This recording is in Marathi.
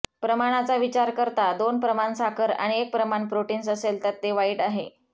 प्रमाणाचा विचार करता दोन प्रमाण साखर आणि एक प्रमाण प्रोटीन्स असेल तर ते वाईट आहे